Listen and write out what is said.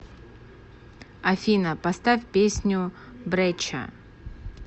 афина поставь песню бреча